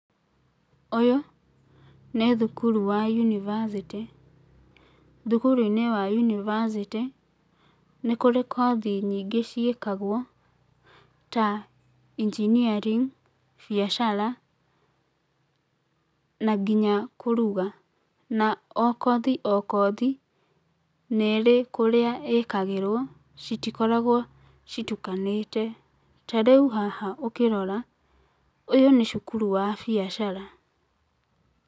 Ũyũ, nĩ thukuru wa yunibacĩtĩ, thukuruinĩ wa yunibacĩtĩ, nĩkũrĩ kothi nyingĩ ciĩkagwo, ta engineering biacara, na nginya kũruga. Na o kothi o kothi, nĩ ĩrĩ kũrĩa ĩkagĩrwo, citikoragwo citukanĩte ta rĩu haha ũkĩrora, ũyũ nĩ cukuru wa biacara.